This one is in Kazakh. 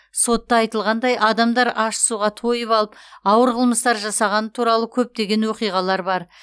сотта айтылғандай адамдар ащы суға тойып алып ауыр қылмыстар жасағаны туралы көптеген оқиғалар бар